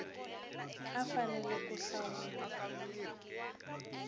a a fanele ku hlawula